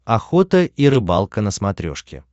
охота и рыбалка на смотрешке